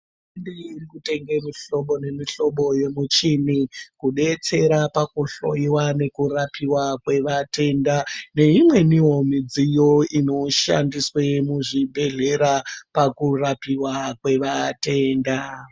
Hurumende inotenga mihlobo nemihlobo yemichini kudetsera pakuhloiwa nekurapiwa kwematenda neimweniwo midziyo inoshandiswa muzvibhedhlera pakurapiwa kwevatenda.